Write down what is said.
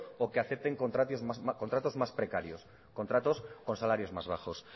o que acepten contratos más precarios contratos con salarios más bajos